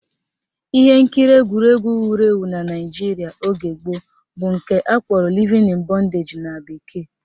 Ihe nkiri egwuregwu wuru ewu na Naijiria oge gboo bụ nke akpọrọ Living In Bondage na bekee